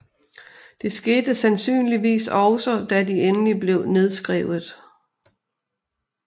Det skete sandsynligvis også da de endelig blev nedskrevet